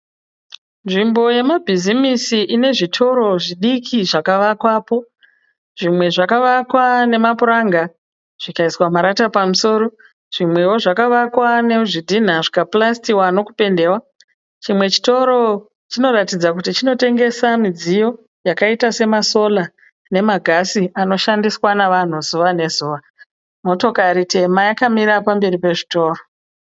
Nzvimbo yemabhizimisi ine zvitoro zvidiki zvakavakwapo. Zvimwe zvakavakwa nemapuranga zvikaiswa marata pamusoro. Zvimwewo zvakavakwa nezvidhina zvikapurasitwa nekupendewa. Chimwe chitiro chinoratidza kuti chinotengesa midziyo yakaita semasola nemagasi anoshandiswa nevanhu zuva nezuva. Motokari tema yakamira pamberi pezvitoro.